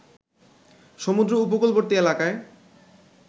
সমুদ্র উপকূলবর্তী এলাকায়